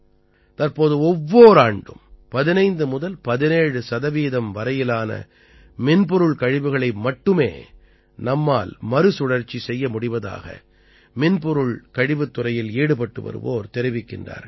தற்போது ஒவ்வொர் ஆண்டும் 15 முதல் 17 சதவீதம் வரையிலான மின்பொருள் கழிவுகளை மட்டுமே நம்மால் மறுசுழற்சி செய்ய முடிவதாக மின்பொருள் கழிவுத் துறையில் ஈடுபட்டு வருவோர் தெரிவிக்கின்றார்கள்